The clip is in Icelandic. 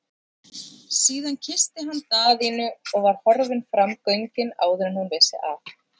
Síðan kyssti hann Daðínu og var horfinn fram göngin áður en hún vissi af.